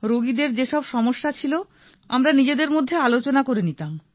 রোগীদের যে সব সমস্যা ছিল আমরা নিজেদের মধ্যে আলোচনা করে নিতাম